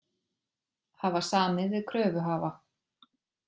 Hafa samið við kröfuhafa